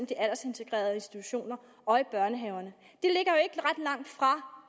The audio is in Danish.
de aldersintegrerede institutioner og i børnehaverne